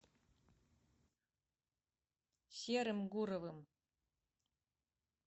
серым гуровым